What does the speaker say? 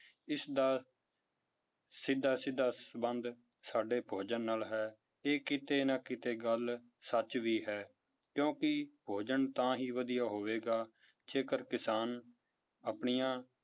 ਇਸਦਾ ਸਿੱਧਾ ਸਿੱਧਾ ਸੰਬੰਧ ਸਾਡੇ ਭੋਜਨ ਨਾਲ ਹੈ, ਇਹ ਕਿਤੇ ਨਾ ਕਿਤੇ ਗੱਲ ਸੱਚ ਵੀ ਹੈ ਕਿਉਂਕਿ ਭੋਜਨ ਤਾਂ ਹੀ ਵਧੀਆ ਹੋਵੇਗਾ ਜੇਕਰ ਕਿਸਾਨ ਆਪਣੀਆਂ